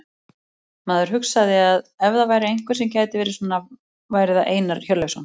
Maður hugsaði að ef það væri einhver sem gæti varið svona væri það Einar Hjörleifsson.